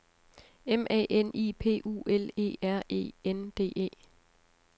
M A N I P U L E R E N D E